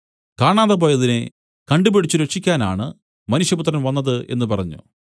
കാണാതെപോയതിനെ കണ്ടുപിടിച്ചു രക്ഷിക്കാനാണ് മനുഷ്യപുത്രൻ വന്നത് എന്നു പറഞ്ഞു